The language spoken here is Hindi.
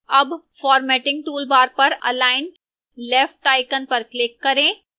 अब formatting toolbar पर align left icon पर click करें